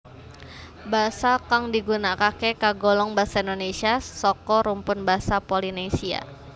Basa kang digunakake kagolong basa Indonesia saka rumpun basa Polinesia